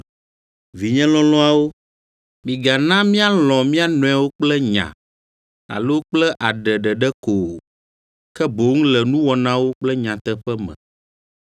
Vinye lɔlɔ̃awo, migana míalɔ̃ mía nɔewo kple nya, alo kple aɖe ɖeɖe ko o, ke boŋ le nuwɔnawo kple nyateƒe me.